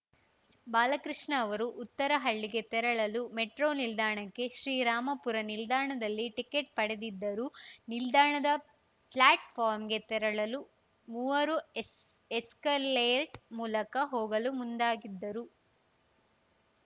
ಬಾಲಕೃಷ್ಣ ಅವರು ಉತ್ತರಹಳ್ಳಿಗೆ ತೆರಳಲು ಮೆಟ್ರೋ ನಿಲ್ದಾಣಕ್ಕೆ ಶ್ರೀರಾಮಪುರ ನಿಲ್ದಾಣದಲ್ಲಿ ಟಿಕೆಟ್‌ ಪಡೆದಿದ್ದರು ನಿಲ್ದಾಣದ ಫ್ಲಾಟ್‌ಫಾರಂಗೆ ತೆರಳಲು ಮೂವರು ಎಸ್ ಎಸ್ಕಲೇಟ್ ಮೂಲಕ ಹೋಗಲು ಮುಂದಾಗಿದ್ದರು